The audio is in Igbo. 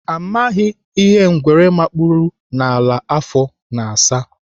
Amaghị ngwere makpuru n'ala afọ na-asa.